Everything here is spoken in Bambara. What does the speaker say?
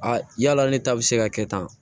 Aa yala ne ta bɛ se ka kɛ tan